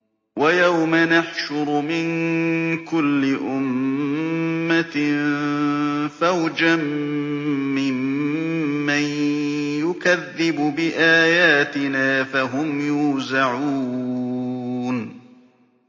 وَيَوْمَ نَحْشُرُ مِن كُلِّ أُمَّةٍ فَوْجًا مِّمَّن يُكَذِّبُ بِآيَاتِنَا فَهُمْ يُوزَعُونَ